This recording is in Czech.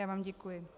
Já vám děkuji.